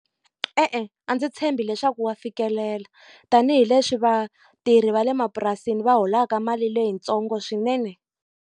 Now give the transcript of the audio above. E-e, a ndzi tshembi leswaku wa fikelela, tanihileswi vatirhi va le mapurasini va holaka mali leyitsongo swinene.